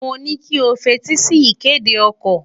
Mo ní kí o f’etí sí ìkéde okò.